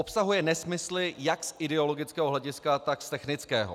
Obsahuje nesmysly jak z ideologického hlediska, tak z technického.